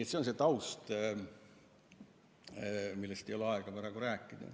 " See on see taust, millest ei ole praegu aega rääkida.